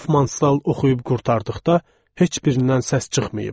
Hofmanstal oxuyub qurtardıqda heç birindən səs çıxmayıb.